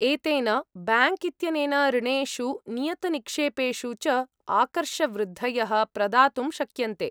एतेन, ब्याङ्क् इत्यनेन ऋणेषु, नियतनिक्षेपेषु च आकर्षवृद्धयः प्रदातुं शक्यन्ते।